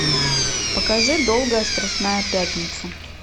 покажи долгая страстная пятница